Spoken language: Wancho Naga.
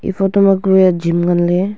eh photo ma kue gym nganley.